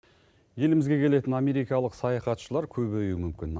елімізге келетін америкалық саяхатшылар көбеюі мүмкін